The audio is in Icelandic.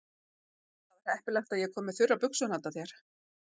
Það var heppilegt að ég kom með þurrar buxur handa þér.